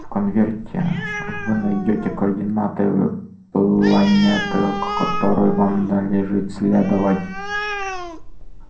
в конверте вы найдёте координаты планеты к которой вам надлежит следовать